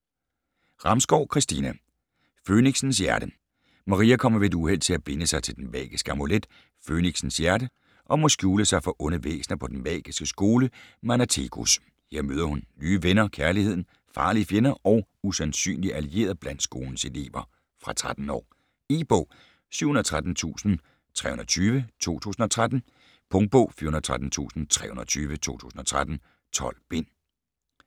Ramskov, Christina: Fønixens hjerte Maria kommer ved et uheld til at binde sig til den magiske amulet, Fønixens Hjerte, og må skjule sig for onde væsner på den magiske skole, Manatecus. Her møder hun nye venner, kærligheden, farlige fjender og usandsynlige allierede blandt skolens elever. Fra 13 år. E-bog 713320 2013. Punktbog 413320 2013. 12 bind.